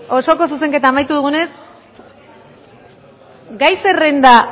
osoko zuzenketa amaitu dugunez gai zerrenda